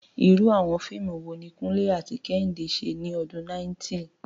Irú àwọn fíìmù wo ni Kunle àti Kehinde ṣe ní ọdún 90?